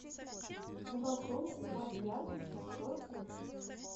на балконе убавь яркость на сорок минут